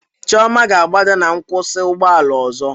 Chioma ga-agbada na nkwụsị ụgbọ ala ọzọ